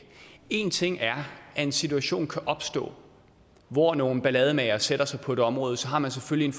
en ting er at en situation kan opstå hvor nogle ballademagere sætter sig på et område og så har man selvfølgelig